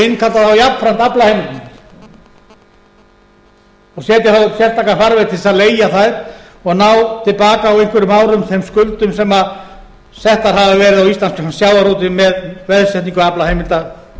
innkalla þá jafnframt aflaheimildirnar og setja þá upp sérstakan farveg til að leigja þær og ná til baka á einhverjum árum þeim skuldum settar hafa verið á íslenskan sjávarútveg með veðsetningu aflaheimilda